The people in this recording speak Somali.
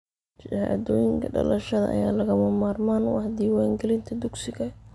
Shahaadooyinka dhalashada ayaa lagama maarmaan u ah diiwaangelinta dugsiga.